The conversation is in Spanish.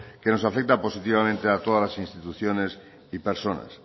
que nos afecta positivamente a todas las instituciones y personas